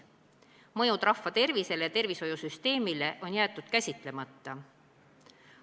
Mõjud rahva tervisele ja tervishoiusüsteemile on jäetud käsitlemata.